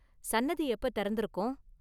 சன்னதி எப்ப திறந்திருக்கும்?